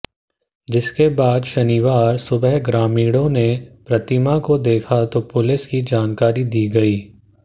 जिसके बाद शनिवार सुबह ग्रामीणों ने प्रतिमा को देखा तो पुलिस की जानकारी दी गई